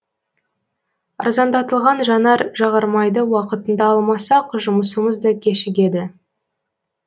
арзандатылған жанар жағармайды уақытында алмасақ жұмысымыз да кешігеді